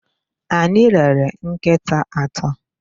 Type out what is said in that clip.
Anyị rere nkịta atọ.